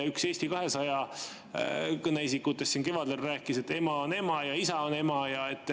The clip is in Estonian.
Üks Eesti 200 kõneisikutest siin kevadel rääkis, et ema on ema ja isa on ema.